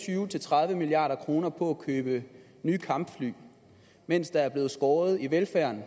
tyve til tredive milliard kroner på at købe nye kampfly mens der er blevet skåret ned i velfærden